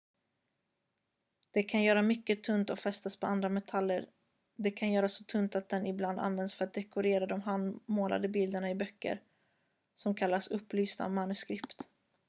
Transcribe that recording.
"det kan göras mycket tunt och fästas på andra metaller. det kan göras så tunt att den ibland användes för att dekorera de handmålade bilderna i böcker som kallas "upplysta manuskript"".